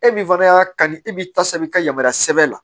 E min fana y'a kanu e b'i ta sanfɛ i ka yamaruya sɛbɛn la